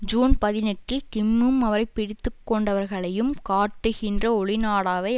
June பதினெட்டில் கிம்மும் அவரை பிடித்துக்கொண்டவர்களையும் காட்டுகின்ற ஒளி நாடாவை